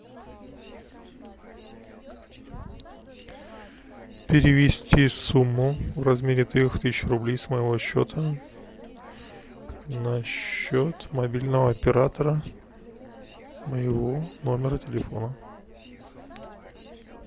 перевести сумму в размере трех тысяч рублей с моего счета на счет мобильного оператора моего номера телефона